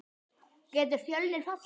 Getur Fjölnir fallið?